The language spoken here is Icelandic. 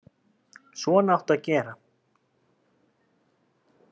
Svona áttu að gera.